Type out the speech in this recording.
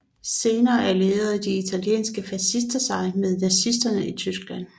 Senere allierede de italienske fascister sig med nazisterne i Tyskland